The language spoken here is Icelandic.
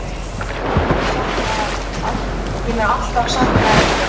Ég mun alltaf sakna ykkar.